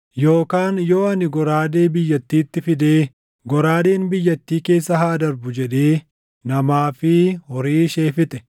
“Yookaan yoo ani goraadee biyyattiitti fidee, ‘Goraadeen biyyattii keessa haa darbu’ jedhee namaa fi horii ishee fixe,